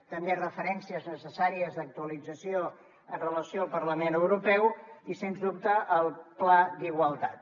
també referències necessàries d’actualització amb relació al parlament europeu i sens dubte al pla d’igualtat